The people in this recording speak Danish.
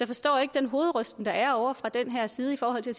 forstår ikke den hovedrysten der er ovre fra den her side i forhold til